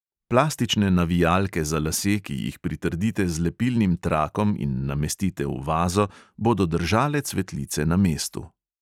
Plastične navijalke za lase, ki jih pritrdite z lepilnim trakom in namestite v vazo, bodo držale cvetlice na mestu.